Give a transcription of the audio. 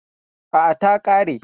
A'a, ta ƙare.